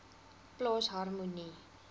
plaas harmonie